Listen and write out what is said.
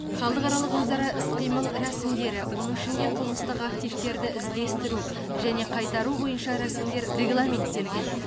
халықаралық өзара іс қимыл рәсімдері оның ішінде қылмыстық активтерді іздестіру және қайтару бойынша рәсімдер регламенттелген